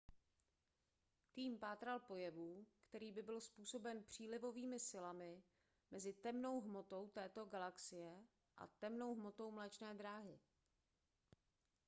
tým pátral po jevu který by byl způsoben přílivovými silami mezi temnou hmotou této galaxie a temnou hmotou mléčné dráhy